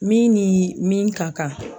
Min ni min ka kan